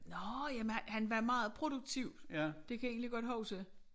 Nåh ja men han han var meget produktiv. Det kan jeg egentlig godt huske